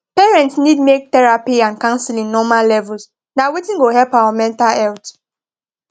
parents need make therapy and counseling normal levels na wetin go help our mental health